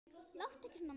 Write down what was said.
Láttu ekki svona, maður.